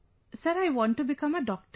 Sir, I want to become a doctor